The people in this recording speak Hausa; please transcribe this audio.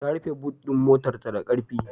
Ta rufe but ɗin motarta da ƙarfi.